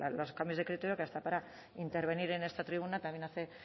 los cambios de criterio que hasta para intervenir en esta tribuna también hace